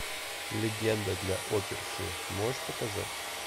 легенда для оперши можешь показать